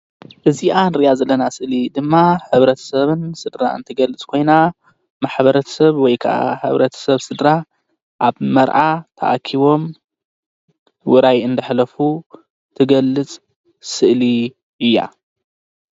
እዚኣ እንሪኣ ዘለና ምስሊ ድማ ሕብረተስብን ስድራኣን ትግልፅ ኮይና ማሕበር ሰብ ወይከዓ ሕብረተ ሰብ ስድራ ኣብ መርዓ ተኣኪቦም ውራይ እናሕለፉ ትገልፅ ስእሊ እያ።